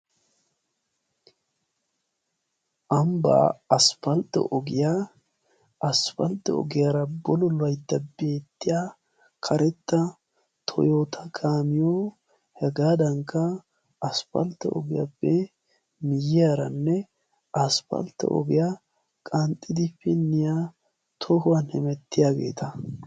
Ambbaa aspfaltte ogiyaa aspfalxxo ogiyaara bolo laytta beettiya karetta toyoota gaamiyo hegaadankka asppaltto ogiyaappe miyyiyaaranne asppaltto ogiyaa qanxxidi pinniyaa tohuwan hemettiyaageeta.